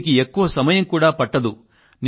దీనికి ఎక్కువ సమయం కూడా పట్టదు